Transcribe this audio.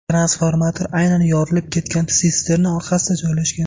Transformator aynan yorilib ketgan sisterna orqasida joylashgan.